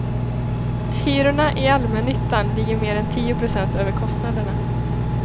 Hyrorna i allmännyttan ligger mer än tio procent över kostnaderna.